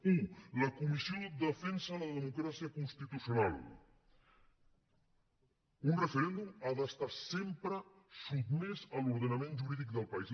u la comissió defensa la democràcia constitucional un referèndum ha d’estar sempre sotmès a l’ordenament jurídic del país